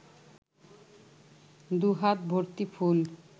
দুহাত ভর্তি ফুল